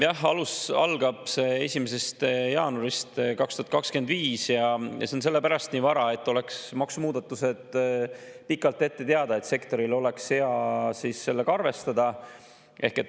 Jah, see 1. jaanuaril 2025 ja sellepärast nii vara, et oleks maksumuudatused pikalt ette teada, et sektoril oleks hea sellega arvestada.